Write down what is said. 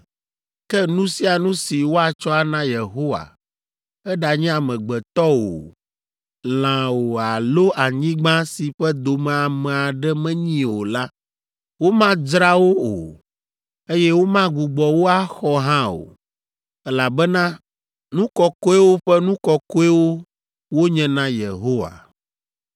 Ke nu sia nu si woatsɔ ana Yehowa, eɖanye amegbetɔ o, lã o alo anyigba si ƒe dome ame aɖe menyi o la, womadzra wo o, eye womagbugbɔ wo axɔ hã o, elabena nu kɔkɔewo ƒe nu kɔkɔewo wonye na Yehowa.